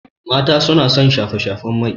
Mata suna son shafe-shafen mai.